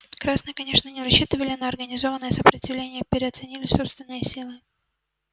красные конечно не рассчитывали на организованное сопротивление переоценили собственные силы